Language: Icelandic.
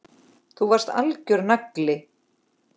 Þú varst algjör nagli.